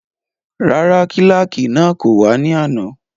Rárá, kílàkì náà kò wá ní àná